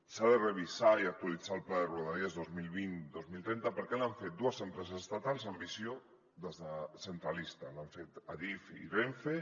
s’ha de revisar i actualitzar el pla de rodalies dos mil vint dos mil trenta perquè l’han fet dues empreses estatals amb visió centralista l’han fet adif i renfe